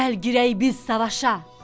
Gəl girək biz savaşa.